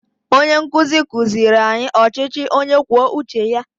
Onye nkuzi kuziri anyị ọchịchị onye kwuo uche ya